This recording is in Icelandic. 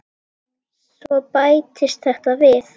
Svo bættist þetta við.